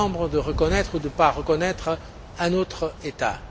de reconnaître ou de ne pas reconnaître un autre État.